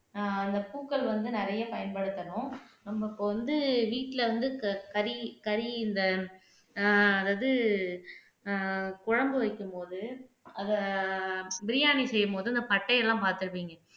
அஹ் அந்த பூக்கள் வந்து நிறைய பயன்படுத்தணும் நம்ம இப்ப வந்து வீட்ல வந்து க கறி கறி இந்த ஆஹ் அதாவது அஹ் குழம்பு வைக்கும்போது அதை பிரியாணி செய்யும்போது அந்த பட்டை எல்லாம் பார்த்திருப்பீங்க